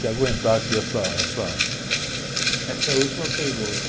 Se aguentar aqui essa, essa...ssa é a última pergunta.